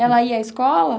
Ela ia à escola?